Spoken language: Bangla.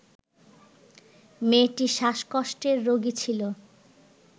মেয়েটি শ্বাসকষ্টের রোগী ছিল